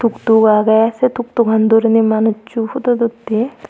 tuk tuk agey se tuktuk an duriney manuchu photo utti.